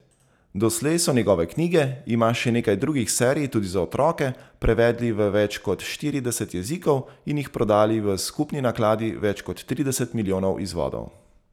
Doslej so njegove knjige, ima še nekaj drugih serij, tudi za otroke, prevedli v več kot štirideset jezikov in jih prodali v skupni nakladi več kot trideset milijonov izvodov.